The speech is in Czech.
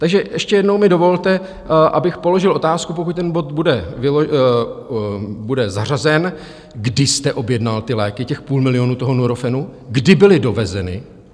Takže ještě jednou mi dovolte, abych položil otázku, pokud ten bod bude zařazen, kdy jste objednal ty léky, těch půl milionu toho Nurofenu, kdy byly dovezeny?